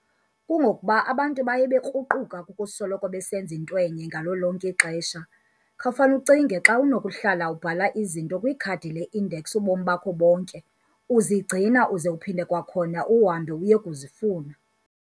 Kungokuba abantu baya bekruquka kukusoloko besenz ainto enye ngalo lonke ixesha. Khawufan'ucinge xa unokuhla ubhala izinto kwikhadi le-index ubomi bakho bonke, uzigcina, uze uphinde kwakhona uhambe uyekuzifuna.